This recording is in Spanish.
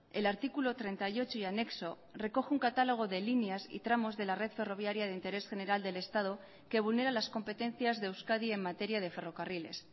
el artículo treinta y ocho y anexo recoge un catálogo de líneas y tramos de la red ferroviaria de interés general del estado que vulnera las competencias de euskadi en materia de ferrocarriles